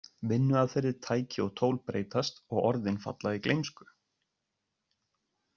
Vinnuaðferðir, tæki og tól breytast og orðin falla í gleymsku.